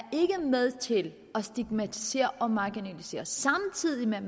med til at stigmatisere og marginalisere samtidig med